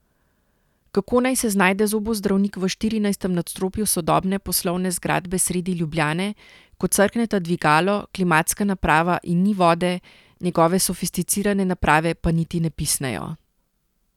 Kako naj se znajde zobozdravnik v štirinajstem nadstropju sodobne poslovne zgradbe sredi Ljubljane, ko crkneta dvigalo, klimatska naprava in ni vode, njegove sofisticirane naprave pa niti ne pisnejo?